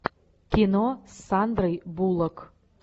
кино с сандрой буллок